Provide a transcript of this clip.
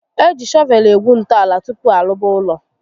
Eji shọvel egwu ntọala tupu arụba ụlọ